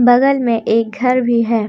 बगल में एक घर भी है।